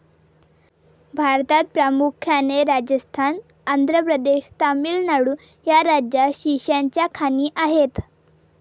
भारतात प्रामुख्याने राजस्थान, आंध्र प्रदेश, तामिळनाडू या राज्यात शिशाच्या खाणी आहेत.